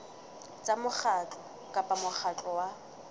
tsa mokgatlo kapa mokgatlo wa